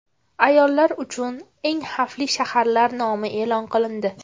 Ayollar uchun eng xavfli shaharlar nomi e’lon qilindi .